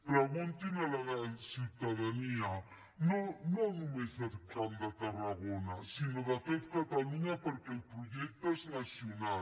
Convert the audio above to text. preguntin a la ciutadania no només del camp de tarragona sinó de tot catalunya perquè el projecte és nacional